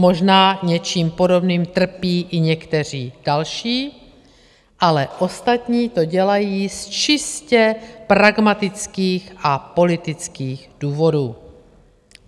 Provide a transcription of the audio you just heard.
Možná něčím podobným trpí i někteří další, ale ostatní to dělají z čistě pragmatických a politických důvodů.